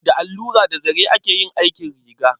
Da allura da zare ake yin aikin riga.